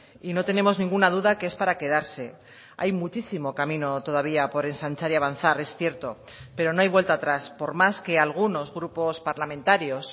y no tenemos ninguna duda que es para quedarse hay muchísimo camino todavía por ensanchar y avanzar es cierto pero no hay vuelta atrás por más que algunos grupos parlamentarios